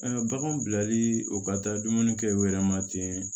baganw bilali u ka taa dumuni kɛ u yɛrɛ ma ten